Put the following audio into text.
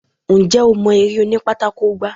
Ǹjẹ́ o mọ eré òní pátákó gbá?